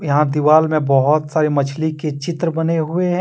यहां दिवाल में बहुत सारे मछली के चित्र बने हुए हैं।